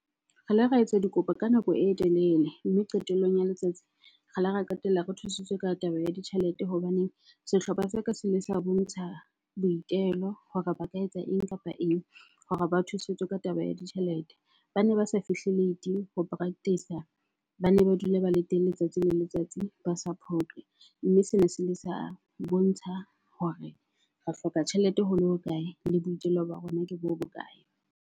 Re la ra etsa dikopo ka nako e telele mme qetellong ya letsatsi re la ra qetella re thusitswe ka taba ya ditjhelete hobaneng sehlopha sa ka se ile sa bontsha boitelo hore ba ka etsa eng kapa eng hore ba thusetswe ka taba ya ditjhelete. Bane ba sa fihle late ho practice-a, bane ba dula ba le teng letsatsi le letsatsi, ba sa phoqe. Mme sena se ile sa bontsha hore re hloka tjhelete ho le hokae, le boitelo ba rona ke bo bokae.